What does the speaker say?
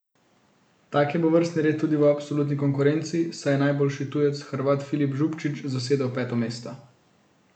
Tak je bil vrstni red tudi v absolutni konkurenci, saj je najboljši tujec, Hrvat Filip Zubčić, zasedel peto mesto.